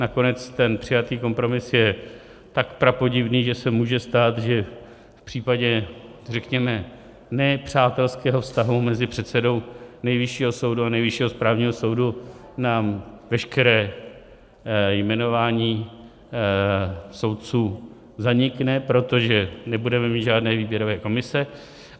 Nakonec ten přijatý kompromis je tak prapodivný, že se může stát, že v případě, řekněme, ne přátelského vztahu mezi předsedou Nejvyššího soudu a Nejvyššího správního soudu nám veškeré jmenování soudců zanikne, protože nebudeme mít žádné výběrové komise.